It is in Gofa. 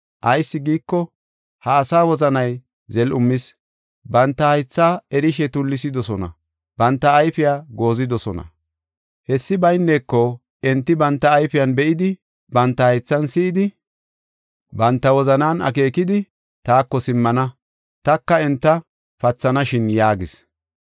Ayis giiko, ha asaa wozanay zel7umis; banta haythaa erishe tullisidosona, banta ayfiya goozidosona. Hessi bayneko enti banta ayfiyan be7idi, banta haythan si7idi, banta wozanan akeekidi, taako simmana, taka enta pathanashin’ yaagis.